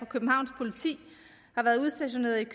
københavns politi har været udstationeret